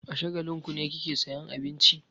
A Shagalinku ne kike sayan abinci?